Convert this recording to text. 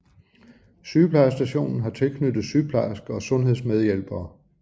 Sygeplejestationen har tilknyttet sygeplejerske og sundhedsmedhjælpere